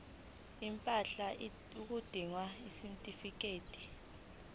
impahla udinga isitifikedi